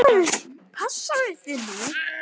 Passaðu þig nú!